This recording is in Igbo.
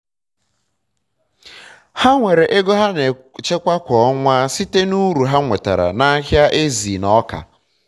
ha nwere ego ha na echekwa kwa ọnwa site na uru ha nwetara na ahịa ezi na ọka